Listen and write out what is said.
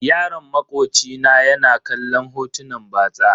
Yaron makoci na ya na kallon hotunan batsa.